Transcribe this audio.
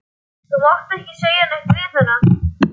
Þú mátt ekki segja neitt við hana.